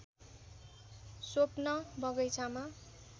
स्वप्न बगैँचामा